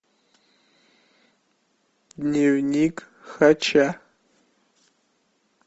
дневник хача